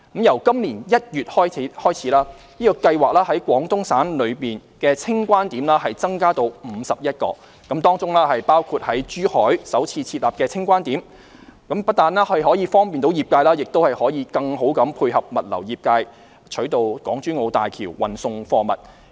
由今年1月起，該計劃在廣東省內的清關點增加至51個，當中包括在珠海首次設立的清關點，不但可以方便業界，也可以更好配合物流業界取道港珠澳大橋運送貨物。